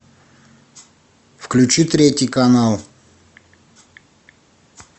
включи третий канал